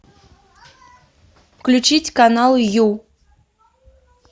включить канал ю